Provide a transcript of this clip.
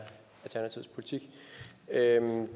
herre